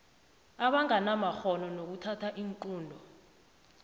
abanganamakghono nokuthatha iinqunto